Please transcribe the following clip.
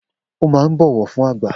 O máa ń bọ̀wọ̀ fún àgbà